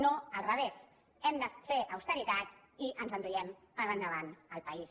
no al revés hem de fer austeritat i ens enduem per endavant el país